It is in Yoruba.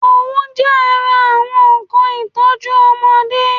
Òwú jẹ́ ara àwọn nnkan ìtọ́jú ọmọdé